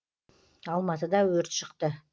алматыда өрт шықты